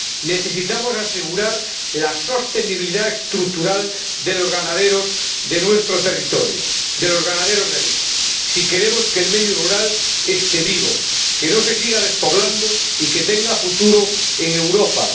Necesitamos asegurar la sostenibilidad estructural de los ganaderos de nuestro territorio, de los ganaderos productores de leche, si queremos que el medio rural esté vivo, que no se siga despoblando y que tenga futuro en Europa.